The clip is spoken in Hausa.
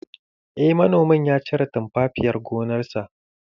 Eh manomin ya cire tumfafiyar gonarsa